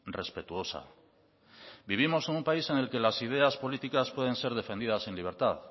respetuosa vivimos en un país en el que las ideas políticas pueden ser defendidas en libertad